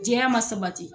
Diɲɛya ma sabati